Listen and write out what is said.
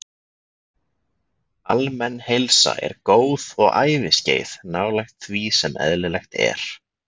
Almenn heilsa er góð og æviskeið nálægt því sem eðlilegt er.